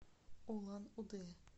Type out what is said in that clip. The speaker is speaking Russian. улан удэ